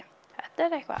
þetta er eitthvað